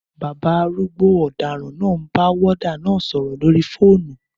Bàbá arúgbó ọ̀daràn náà ń bá wọ́ọ́dà náà sọ̀rọ̀ lórí fóònù